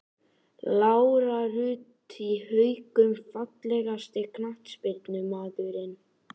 Lára Rut í Haukum Fallegasti knattspyrnumaðurinn?